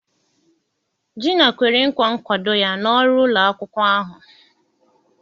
Gina kwere nkwa nkwado ya na ọrụ ụlọ akwụkwọ ahụ.